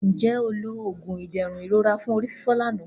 Nje o lo oogun iderun irora fun orififo lana